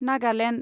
Nagaland